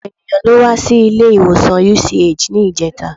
Ọ̀pọ̀ ènìyàn ló wá sí ilé-ìwọ̀sàn UCH níjẹta.